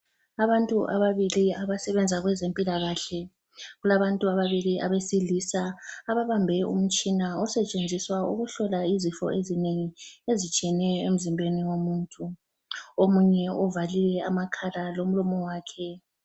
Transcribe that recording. Abantu ababili abasebenza kwezempilakahle, kulabantu ababili abesilisa ababambe umtshina osetshenziswa ukuhlola izifo ezinengi ezitshiyeneyo emzimbeni womuntu omunye uvale amakhala lomlomo wakhe.